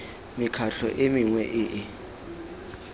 mekgatlho e mengwe e e